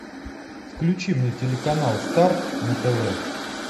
включи мне телеканал старт на тв